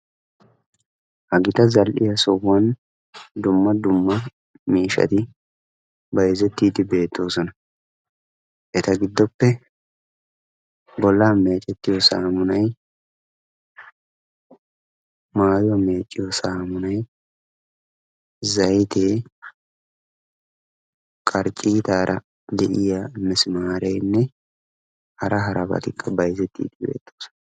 Ha gita zal"iyaa sohuwaan dumma dummamiishshati bayzettiidi beettoosona. eta giddoppe bollaa mecettiyoo saamunay, maayuwaa meecciyoo saamunay, zaytee qarccitaara de'iyaa misimaarenne hara harabatikka bayzettiidi de'oosona.